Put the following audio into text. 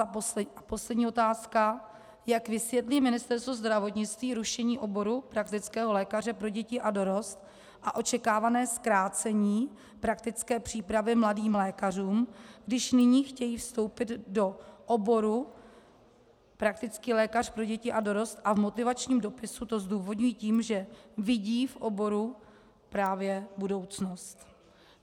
A poslední otázka: Jak vysvětlí Ministerstvo zdravotnictví rušení oboru praktického lékaře pro děti a dorost a očekávané zkrácení praktické přípravy mladým lékařům, když nyní chtějí vstoupit do oboru praktický lékař pro děti a dorost a v motivačním dopise to zdůvodňují tím, že vidí v oboru právě budoucnost?